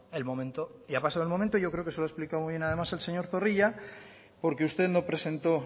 el momento y ha pasado el momento y yo creo que se lo ha explicado muy bien además el señor zorrilla porque usted no presentó